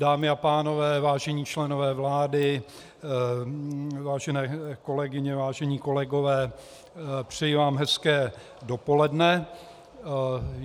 Dámy a pánové, vážení členové vlády, vážené kolegyně, vážení kolegové, přeji vám hezké dopoledne.